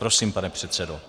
Prosím, pane předsedo.